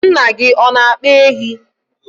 nna gị ọ na-akpa ehi?